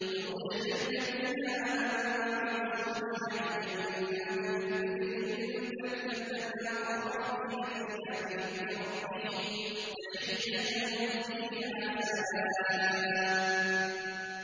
وَأُدْخِلَ الَّذِينَ آمَنُوا وَعَمِلُوا الصَّالِحَاتِ جَنَّاتٍ تَجْرِي مِن تَحْتِهَا الْأَنْهَارُ خَالِدِينَ فِيهَا بِإِذْنِ رَبِّهِمْ ۖ تَحِيَّتُهُمْ فِيهَا سَلَامٌ